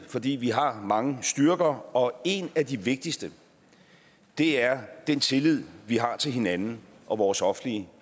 fordi vi har mange styrker og en af de vigtigste er den tillid vi har til hinanden og vores offentlige